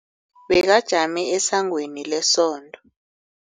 Bekajame esangweni lesonto.